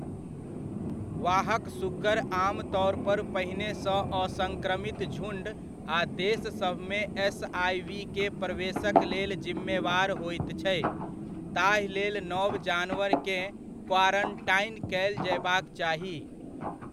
वाहक सुग्गर आमतौर पर पहिनेसँ असंक्रमित झुंड आ देशसभमे एसआइवीक प्रवेशक लेल जिम्मेवार होइत छै, ताहिलेल नव जानवरकेँ क्वारंटाइन कयल जयबाक चाही।